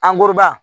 Angoroba